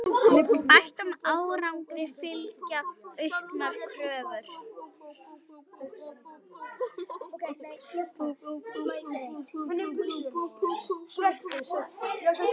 Bættum árangri fylgja auknar kröfur.